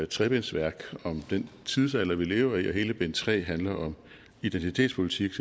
trebindsværk om den tidsalder vi lever i og hele bind tre handler om identitetspolitik